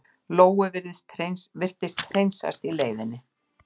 Lóu virtist hreinsast í leiðinni.